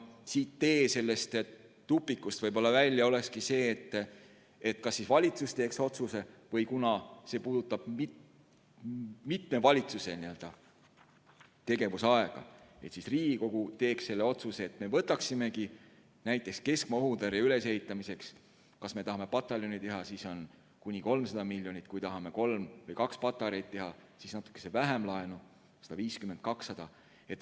Tee sellest tupikust välja olekski see, et kas valitsus teeb otsuse, või kuna see puudutab mitme valitsuse tegevusaega, siis Riigikogu teeks selle otsuse, et me võtaksimegi näiteks keskmaa õhutõrje ülesehitamiseks, kui me tahame pataljoni teha, siis kuni 300 miljonit, kui tahame kaks või kolm patareid teha, siis natukene vähem, 150 või 200 miljonit eurot laenu.